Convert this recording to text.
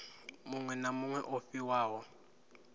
muṅwe na muṅwe o fhiwaho